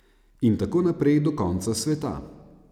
In tako naprej do konca sveta.